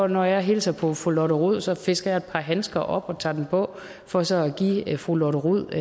når jeg hilser på fru lotte rod så fisker jeg et par handsker op og tager dem på for så at give fru lotte rod